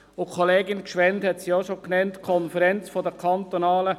Grossrätin Gschwend hat es bereits gesagt: